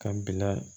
Ka bila